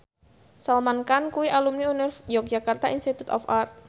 Salman Khan kuwi alumni Yogyakarta Institute of Art